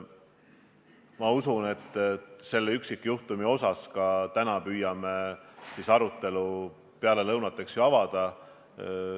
Ma usun, et ka selle üksikjuhtumi üle me püüame arutelu peale lõunat avada.